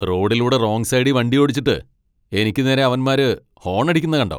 റോഡിലൂടെ റോങ് സൈഡീ വണ്ടിയോടിച്ചിട്ട്, എനിക്ക് നേരെ അവന്മാര് ഹോൺ അടിക്കുന്ന കണ്ടോ.